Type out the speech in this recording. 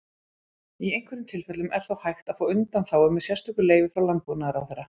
Í einhverjum tilfellum er þó hægt að fá undanþágu með sérstöku leyfi frá Landbúnaðarráðherra.